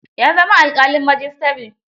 Ya zama alƙalin majistare.